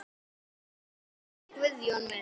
Elsku Guðjón minn.